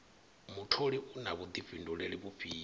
mutholi u na vhuḓifhinduleli vhufhio